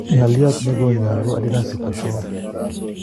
ngaliot ne ko nyalun adinasi kwo shwau